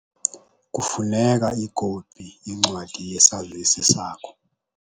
Kufuneka ikopi yencwadi yesazisi sakho.